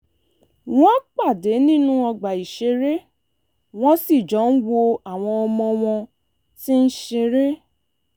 wọ́n pàdé nínú ọgbà ìṣeré wọ́n sì jọ ń wo àwọn ọmọ wọn tí ń ṣeré